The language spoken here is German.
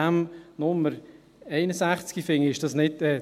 Bei Nummer 61 – ich korrigiere mich: